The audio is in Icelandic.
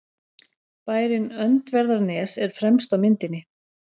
Bærinn Öndverðarnes er fremst á myndinni.